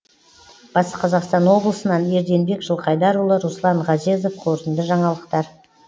батыс қазақстан облысынан ерденбек жылқайдарұлы руслан ғазезов қорытынды жаңалықтар